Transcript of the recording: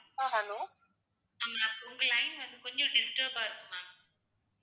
உங்க line வந்து கொஞ்சம் disturb அ இருக்கு ma'am